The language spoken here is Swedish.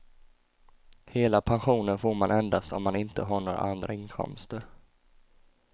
Hela pensionen får man endast om man inte har några andra inkomster.